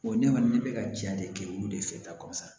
O ne kɔni ne bɛ ka ja de kɛ olu de fɛ kɔsan